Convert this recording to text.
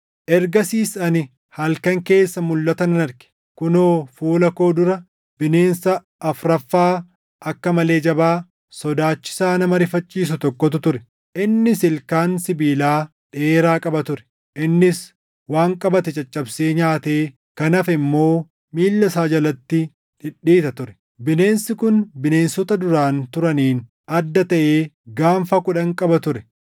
“Ergasiis ani halkan keessa mulʼata nan arge; kunoo fuula koo dura bineensa afuraffaa akka malee jabaa, sodaachisaa nama rifachiisu tokkotu ture. Innis ilkaan sibiilaa dheeraa qaba ture; innis waan qabate caccabsee nyaatee kan hafe immoo miilla isaa jalatti dhidhiita ture. Bineensi kun bineensota duraan turaniin adda taʼee gaanfa kudhan qaba ture.